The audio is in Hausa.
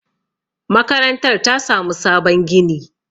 makarantar ta samu sabon gini